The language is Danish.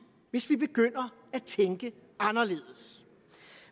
hvis vi begynder at tænke anderledes